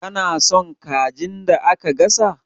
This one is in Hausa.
Kana son kajin da aka gasa?